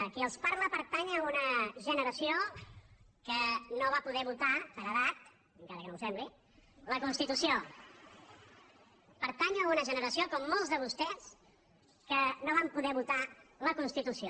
qui els parla pertany a una generació que no va poder votar per edat encara que no ho sembli constitució pertany a una generació com molts de vostès que no va poder votar la constitució